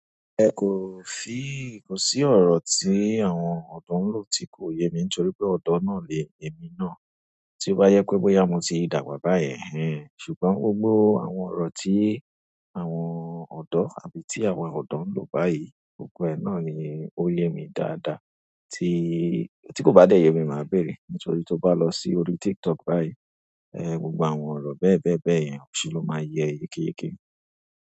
Ẹ ko fi ìkùnsí ọ̀rọ̀ tí àwọn ọ̀dọ́ ń lò tí kò yé mi nítorí pé ọ̀dọ́ náà lé èmi náà. Tí ó bá yẹ pé bóyá mo ti dàgbà báyen, ẹhen. Ṣùgbọ́n gbogbo àwọn ọ̀rọ̀ tí àwọn ọ̀dọ́ àbí tí àwọn ọ̀dọ́ ń lò báyìí, gbogbo ẹ náà ni ó yé mi dáadáa. Tí, tí kò bá dẹ̀ yé mi, màá béèrè. Nítorí tí o bá lọ sí orí TikTok báyìí, ẹ, gbogbo àwọn ọ̀rọ̀ bẹ́ẹ̀bẹ́ẹ̀bẹ́ẹ̀ yẹn, si ló máa yẹ é yekéyèké.